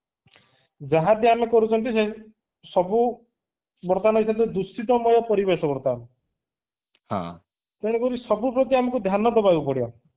ଯାହାବି ଆମେ କରୁଛନ୍ତି ସେ ସବୁ ବର୍ତ୍ତମାନ କହିଲେ ଦୂଷିତ ମୂଳ ପରିବେଶ ବର୍ତ୍ତମାନ ତେଣୁ କରି ସବୁ ପ୍ର୍ତି ଆମକୁ ଧ୍ୟାନ ଦେବାକୁ ପଡିବ